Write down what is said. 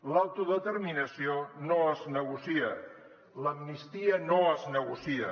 l’autodeterminació no es negocia l’amnistia no es negocia